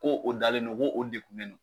Ko o dalen no , ko o dekun ne no.